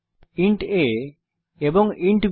int a এবং int b